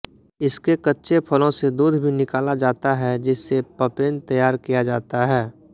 इसके कच्चे फलों से दूध भी निकाला जाता है जिससे पपेन तैयार किया जाता है